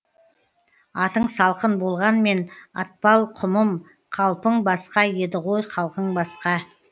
атың салқын болғанмен атпал құмым қалпың басқа еді ғой халқың басқа